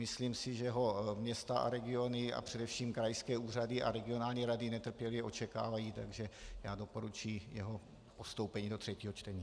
Myslím si, že ho města a regiony a především krajské úřady a regionální rady netrpělivě očekávají, takže já doporučuji jeho postoupení do třetího čtení.